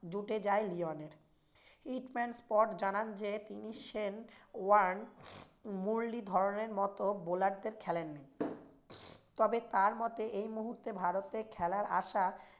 উঠে যায় লিওনের। জানান যে সেন ওয়ার্ন, মুরলি ধবনের মতো bowler খেলেননি তবে তার মতে এই মুহূর্তে ভারতে খেলার আসা